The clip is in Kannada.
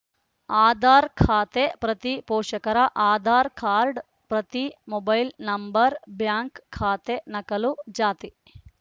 ಆಧಾರ್‌ ಖಾತೆ ಪ್ರತಿ ಪೋಷಕರ ಆಧಾರ್‌ ಕಾರ್ಡ್‌ ಪ್ರತಿ ಮೊಬೈಲ್‌ ನಂಬರ್‌ ಬ್ಯಾಂಕ್‌ ಖಾತೆ ನಕಲು ಜಾತಿ